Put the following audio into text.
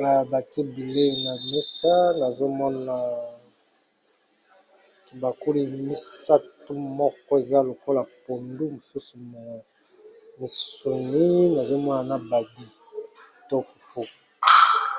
na bati bilei na mesa nazomona kibakuli misatu moko eza lokola pondu mosusu misoni nazomona na badi to fuffu.